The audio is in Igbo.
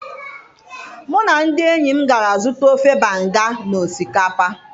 mu na ndi enyim gara zuta ofe banga na osikapa